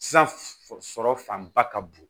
San sɔrɔ fanba ka bon